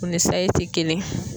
O ni sayi te kelen ye.